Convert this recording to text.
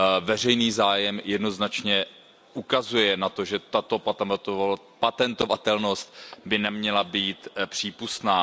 Veřejný zájem jednoznačně ukazuje na to, že tato patentovatelnost by neměla být přípustná.